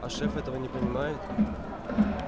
а шеф этого не понимает